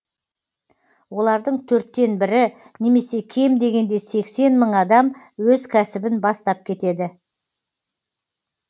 олардың төрттен бірі немесе кем дегенде сексен мың адам өз кәсібін бастап кетеді